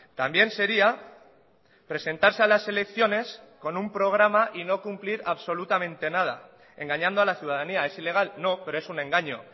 también sería presentarse a las elecciones con un programa y no cumplir absolutamente nada engañando a la ciudadanía es ilegal no pero es un engaño